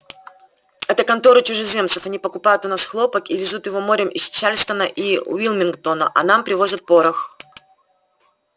это конторы чужеземцев они покупают у нас хлопок и везут его морем из чарльстона и уилмингтона а нам привозят порох